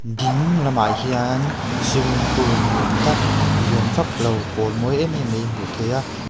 ding lamah hian swimming pool ni awm tak lian vak lo pâwl mawi em em mai hmuh theih a.